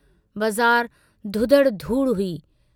बज़ार धुधड़ धूड़ हुई।